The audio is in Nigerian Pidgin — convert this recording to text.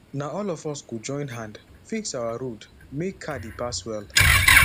na all of us go join hand fix our road make car dey pass well